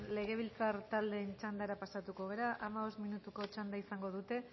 legebiltzar taldeen txandara pasatuko gara hamabost minutuko txanda izango dute